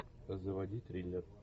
заводи триллер